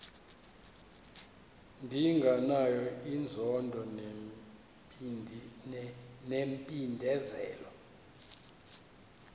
ndinganayo inzondo nempindezelo